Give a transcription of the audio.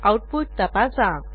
output तपासा